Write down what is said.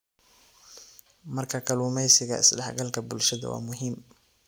Marka kalluumeysiga, isdhexgalka bulshada waa muhiim.